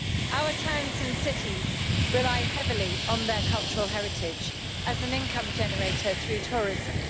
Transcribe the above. Our towns and cities rely heavily on their cultural heritage as an income generator through tourism.